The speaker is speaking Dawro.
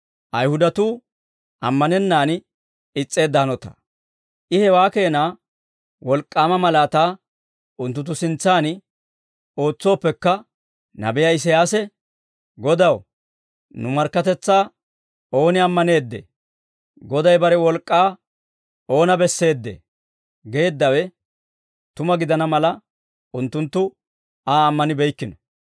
I hewaa keena wolk'k'aama malaataa unttunttu sintsan ootsooppekka, nabiyaa Isiyaasi, «Godaw, nu markkatetsaa ooni ammaneeddee? Goday bare wolk'k'aa oona besseedee?» geeddawe tuma gidana mala, unttunttu Aa ammanibeykkino.